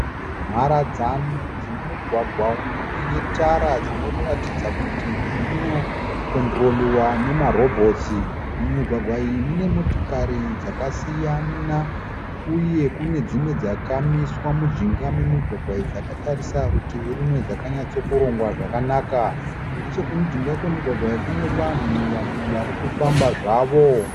Mharadzano dzemugwagwa inetara dzinoratidza kuti dzinokondiroriwa nemarobhotsi. Mumigwagwa iyi mune motokari dzakasiyana uye kune dzimwe dzakamiswa mujinga memigwagwa iyi dzakatarisa rutivirumwe dzakanyatsokurongwa zvakanaka . Nechekumujinga kwemigwagwa iyi kune vanhu vamwe varikufamba zvavo.